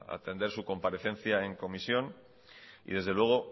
atender su comparecencia en comisión y desde luego